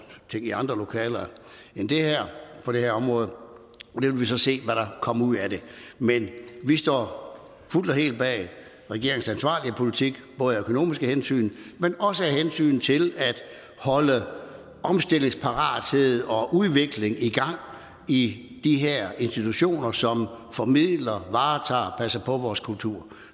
ting i andre lokaler end det her på det her område vi vil så se hvad der kommer ud af det men vi står fuldt og helt bag regeringens ansvarlige politik både af økonomiske hensyn men også af hensyn til at holde omstillingsparathed og udvikling i gang i de her institutioner som formidler varetager og passer på vores kultur